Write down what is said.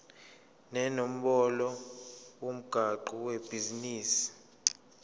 nenombolo yomgwaqo webhizinisi